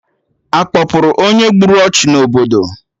Akpọpụrụ onye gburu ọchụ n'obodo?